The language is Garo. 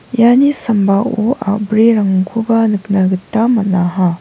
iani sambao a·brirangkoba nikna gita man·aha.